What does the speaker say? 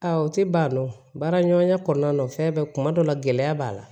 Aa o tɛ ban o baara ɲɔgɔnya kɔnɔna na o fɛn bɛɛ kuma dɔ la gɛlɛya b'a la